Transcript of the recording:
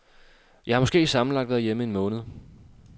Jeg har måske sammenlagt været hjemme en måned.